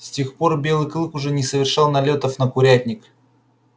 с тех пор белый клык уже не совершал налётов на курятник